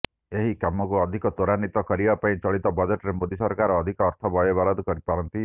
ଏହି କାମକୁ ଅଧିକ ତ୍ୱରାନ୍ୱିତ କରିବା ପାଇଁ ଚଳିତ ବଜେଟରେ ମୋଦି ସରକାର ଅଧିକ ଅର୍ଥ ବ୍ୟୟବରାଦ କରିପାରନ୍ତି